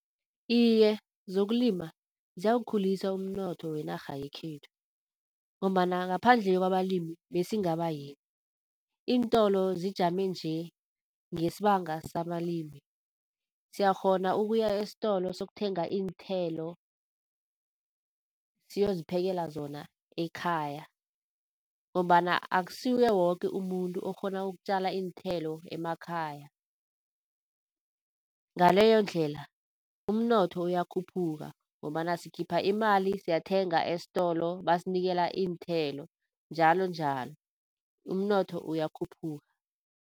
Iye, zokulima ziyawukhulisa umnotho wenarha yekhethu ngombana, ngaphandle kwabalimi besingaba yini? Iintolo zijame nje ngesibanga sabalimi. Siyakghona ukuya estolo sokuthenga iinthelo, siyoziphekela zona ekhaya ngombana akusuye woke umuntu okghona ukutjala iinthelo emakhaya. Ngaleyondlela umnotho uyakhuphuka ngombana sikhipha imali siyathenga estolo basinikela iinthelo njalonjalo. Umnotho uyakhuphuka.